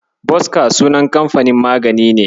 Boska sunan kamfanin magani ne.